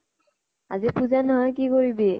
আজি পূজা নহয়, কি কৰিবি?